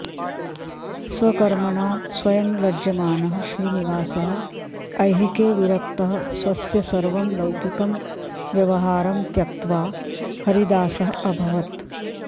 स्वकर्मणा स्वयं लज्जमानः श्रीनिवासः ऐहिके विरक्तः स्वस्य सर्वं लौकिकं व्यवहारं त्यक्त्या हरिदासः अभवत्